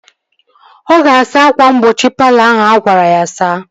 Ọ ga-asa ákwà mgbochi palọ ahụ agwara ya saa